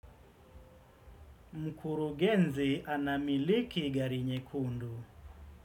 Mkurugenzi anamiliki gari nyekundu.